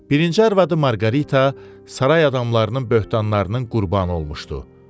Birinci arvadı Marqarita saray adamlarının böhtanlarının qurbanı olmuşdu.